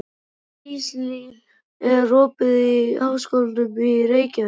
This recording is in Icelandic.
Gíslný, er opið í Háskólanum í Reykjavík?